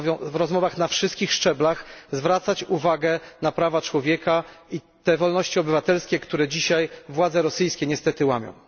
w rozmowach na wszystkich szczeblach, zwracać uwagę na prawa człowieka i te wolności obywatelskie, które dzisiaj władze rosyjskie niestety łamią.